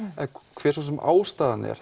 hver svo sem ástæðan er